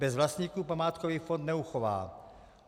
Bez vlastníků památkový fond neuchová.